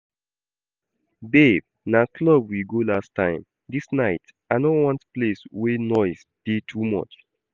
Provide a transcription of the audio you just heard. Babe na club we go last time, dis night I no want place wey noise dey too much